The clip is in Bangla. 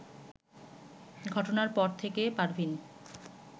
ঘটনার পর থেকে পারভীন